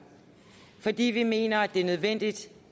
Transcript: fordi vi mener det er nødvendigt